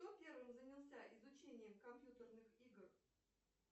кто первым занялся изучением компьютерных игр